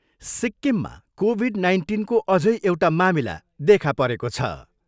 सिक्किमा COVID नाइन्टिनको अझै एउटा मामिला देखा परेको छ।